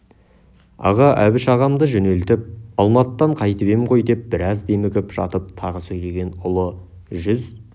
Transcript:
аға әбіш ағамды жөнелтіп алматыдан қайтып ем ғой деп біраз демігіп жатып тағы сөйлеген ұлы жүз